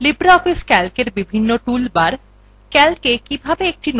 libreoffice calcএর বিভিন্ন toolbars